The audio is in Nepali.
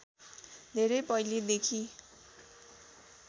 धेरै पहिलेदेखि